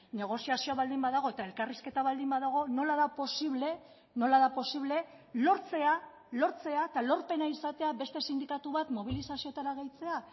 negoziazioa baldin badago eta elkarrizketa baldin badago nola da posible nola da posible lortzea lortzea eta lorpena izatea beste sindikatu bat mobilizazioetara gehitzea